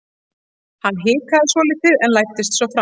Hann hikaði svolítið en læddist svo fram.